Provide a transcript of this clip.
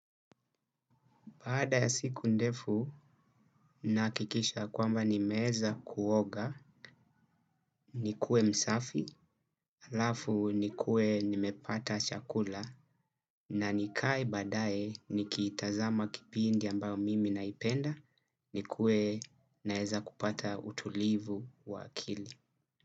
Baada ya siku ndefu, nahakikisha kwamba nimeweza kuoga, nikuwe msafi, halafu nikuwe nimepata chakula, na nikae badaye nikitazama kipindi ambao mimi naipenda, nikuwe naeza kupata utulivu wa akili.